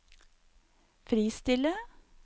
fristille